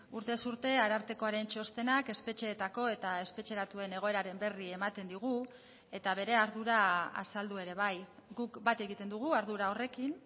urtez urte arartekoaren txostenak espetxeetako eta espetxeratuen egoeraren berri ematen digu eta bere ardura azaldu ere bai guk bat egiten dugu ardura horrekin